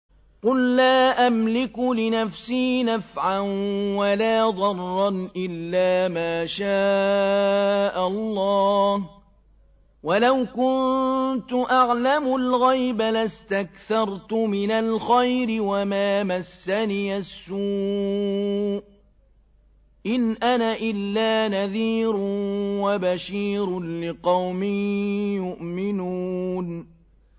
قُل لَّا أَمْلِكُ لِنَفْسِي نَفْعًا وَلَا ضَرًّا إِلَّا مَا شَاءَ اللَّهُ ۚ وَلَوْ كُنتُ أَعْلَمُ الْغَيْبَ لَاسْتَكْثَرْتُ مِنَ الْخَيْرِ وَمَا مَسَّنِيَ السُّوءُ ۚ إِنْ أَنَا إِلَّا نَذِيرٌ وَبَشِيرٌ لِّقَوْمٍ يُؤْمِنُونَ